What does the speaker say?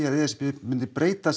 að e s b myndi breyta